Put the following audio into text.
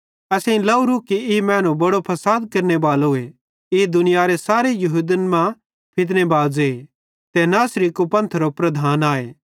असेईं लाहेरूए कि ई मैनू बड़ो फसाद केरनेबालोए ई दुनियारे सारे यहूदन मां फितनाबाज़े ते नासरी कुपंथेरो प्रधान आए